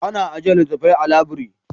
Ana ajiyar littattafai a labiri.